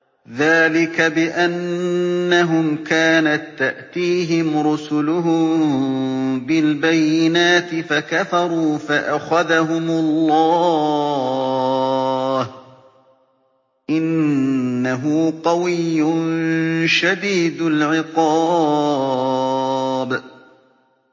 ذَٰلِكَ بِأَنَّهُمْ كَانَت تَّأْتِيهِمْ رُسُلُهُم بِالْبَيِّنَاتِ فَكَفَرُوا فَأَخَذَهُمُ اللَّهُ ۚ إِنَّهُ قَوِيٌّ شَدِيدُ الْعِقَابِ